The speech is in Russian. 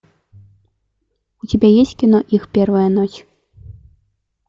у тебя есть кино их первая ночь